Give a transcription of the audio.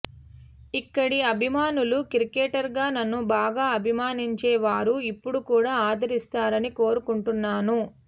ఇక్కడి అభిమానులు క్రికెటర్ గా నన్ను బాగా అభిమానించే వారు ఇప్పుడు కూడా ఆదరిస్తారని కోరుకుంటున్నాను